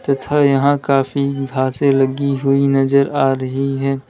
तथा यहां काफी घासें लगी हुई नजर आ रही हैं।